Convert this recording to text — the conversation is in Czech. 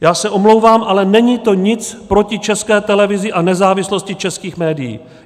Já se omlouvám, ale není to nic proti České televizi a nezávislosti českých médií.